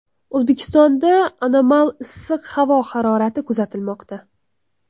O‘zbekistonda anomal issiq havo harorati kuzatilmoqda.